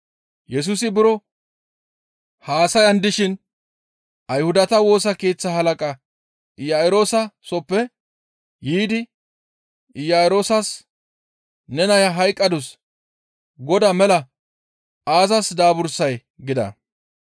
Yesusi buro haasayan dishin Ayhudata Woosa Keeththa halaqa Iya7iroosa sooppe yiidi Iya7iroosas, «Ne naya hayqqadus; Godaa mela aazas daabursay?» gida.